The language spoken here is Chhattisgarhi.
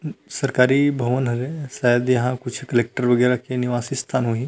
सरकारी भवन हरे शायद यहाँ कलक्टर वगैरह के निवासी स्थान होही--